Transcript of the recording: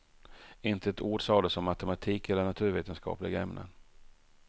Inte ett ord sades om matematik eller naturvetenskapliga ämnen.